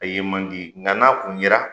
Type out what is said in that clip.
A ye man di nka n'a kun yera,